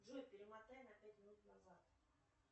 джой перемотай на пять минут назад